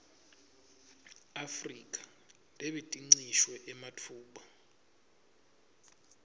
afrika lebetincishwe ematfuba